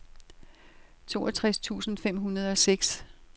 toogtres tusind fem hundrede og seks